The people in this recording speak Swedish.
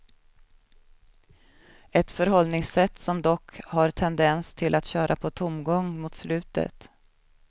Ett förhållningssätt som dock har tendens till att köra på tomgång mot slutet.